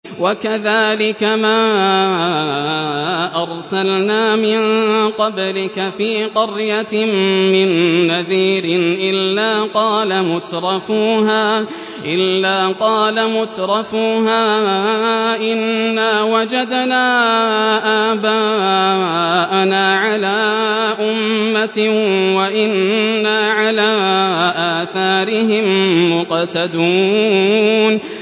وَكَذَٰلِكَ مَا أَرْسَلْنَا مِن قَبْلِكَ فِي قَرْيَةٍ مِّن نَّذِيرٍ إِلَّا قَالَ مُتْرَفُوهَا إِنَّا وَجَدْنَا آبَاءَنَا عَلَىٰ أُمَّةٍ وَإِنَّا عَلَىٰ آثَارِهِم مُّقْتَدُونَ